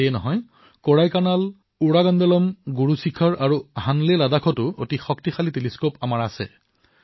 এয়াই নহয় কোড়াইকানাল উদাঘমাণ্ডালাম গুৰু শিখৰ আৰু হেনলে লাডাখতো শক্তিশালী দুৰবীক্ষণ আছে